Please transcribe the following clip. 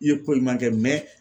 I ye ko ɲuman kɛ